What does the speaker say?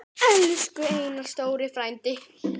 Elsku Einar stóri frændi.